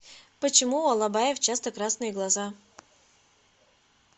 почему у алабаев часто красные глаза